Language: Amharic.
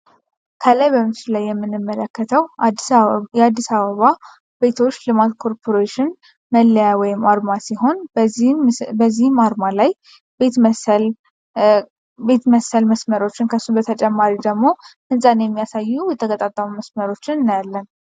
ምስሉ ላይ የምንመለከተው የአዲስ አበባ ልማት ቤቶች ኮርፖሬሽን አርማ ሲሆን በዚህ አርማ ላይ ቤት መሰል መስመርና በተጨማሪም ቤት የሚመስሉ የተገጣጠሙ መስመሮች ይገኙበታል።